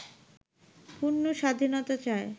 পূর্ণ স্বাধীনতা চায়